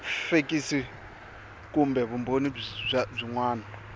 fekisi kumbe vumbhoni byin wana